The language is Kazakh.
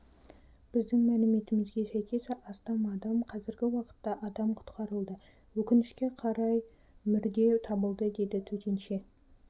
біздің мәліметімізге сәйкес астам адам қазіргі уақытта адам құтқарылды өкінішке қарай мүрде табылды деді төтенше